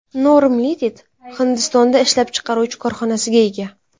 Norm Ltd Hindistonda o‘z ishlab chiqaruvchi korxonasiga ega.